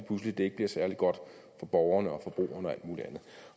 pludselig ikke særlig godt for borgerne og beboerne